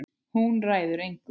Hún ræður engu.